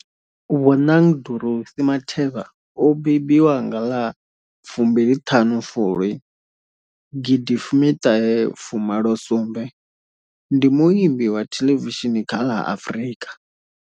Bonang Dorothy Matheba o mbembiwa nga ḽa fumbili thanu Fulwi gidi fumi thahe fu malo sumbe ndi muambi wa thelevishini kha la Afrika.